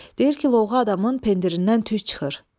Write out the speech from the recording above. Deyir ki, lovğa adamın pindirindən tüs çıxır.